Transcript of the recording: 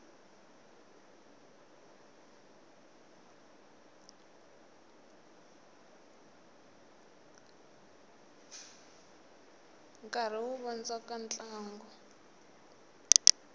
nkarhi wu vondzoka ntlangu